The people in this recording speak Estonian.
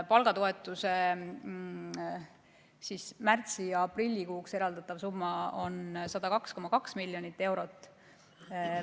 Palgatoetusele märtsi- ja aprillikuuks eraldatav summa on 102,2 miljonit eurot.